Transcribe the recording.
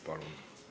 Palun!